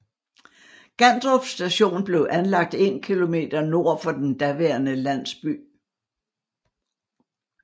Gandrup Station blev anlagt 1 km nord for den daværende landsby